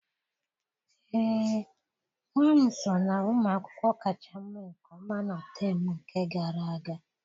Ee, nwa m so na ụmụ akwụkwọ kacha mee nke ọma na temu nke gara aga.